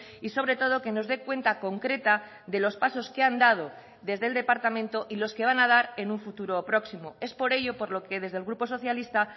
y sobre todo que nos dé cuenta concreta de los pasos que han dado desde el departamento y los que van a dar en un futuro próximo es por ello por lo que desde el grupo socialista